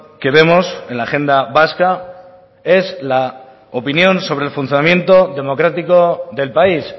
que vemos en la agenda vasca es la opinión sobre el funcionamiento democrático del país